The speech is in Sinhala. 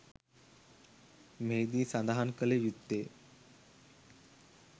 මෙහිදී සඳහන් කළ යුත්තේ